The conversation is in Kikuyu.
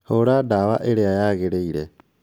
Hũra ndawa ĩria yagĩrĩire ta